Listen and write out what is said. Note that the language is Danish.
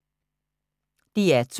DR2